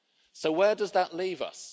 So where does that leave us?